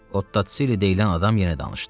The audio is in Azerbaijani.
Ottosili deyilən adam yenə danışdı.